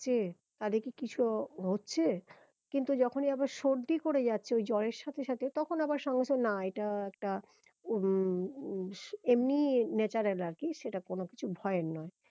আসছে তাদিকে কিছু হচ্ছে কিন্তু যখনি আবার সর্দি করে যাচ্ছে ওই জ্বরের সাথে সাথে তখন আবার সঙ্গে সঙ্গে না এটা একটা উম উহ এমনি natural আর কি সেটা কোনো কিছু ভয়ের নয়